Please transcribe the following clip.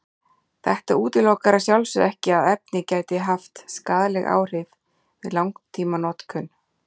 Þetta útilokar að sjálfsögðu ekki að efnið gæti haft skaðleg áhrif við langtímanotkun.